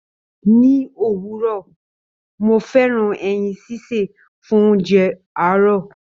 Ni òwúrọ̀, mo fẹ́ràn ẹyin sísè fún oúnjẹ àárò.